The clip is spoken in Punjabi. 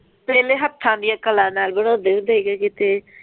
ਪਹਿਲੇ ਹੱਥਾਂ ਦਾਨ ਕਲਾ ਨਾਲ ਬਣਾਉਂਦੇ ਹੁੰਦੇ ਸੀ ਕਿਤੇ।